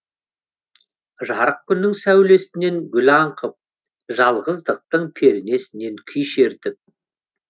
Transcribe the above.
жарық күннің сәулесінен гүл аңқып жалғыздықтың пернесінен күй шертіп